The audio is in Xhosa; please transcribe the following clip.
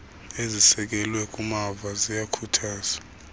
ezisekelwe kumava ziyakhuthazwa